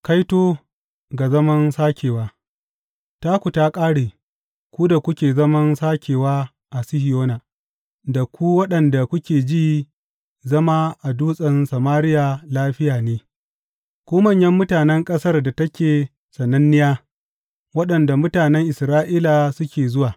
Kaito ga zaman sakewa Taku ta ƙare, ku da kuke zaman sakewa a Sihiyona, da ku waɗanda kuke ji zama a Dutsen Samariya lafiya ne, ku manyan mutanen ƙasar da take sananniya, waɗanda mutanen Isra’ila suke zuwa!